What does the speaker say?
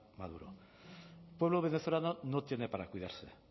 maduro el pueblo venezolano no tiene para cuidarse